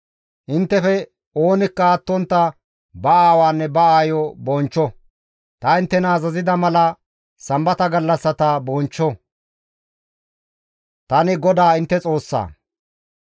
« ‹Inttefe oonikka attontta ba aawaanne ba aayo bonchcho; ta inttena azazida mala Sambata gallassata bonchcho; tani GODAA intte Xoossaa.